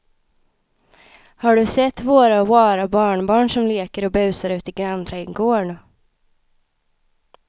Har du sett våra rara barnbarn som leker och busar ute i grannträdgården!